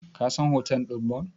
Ka san hotel ɗin Bon?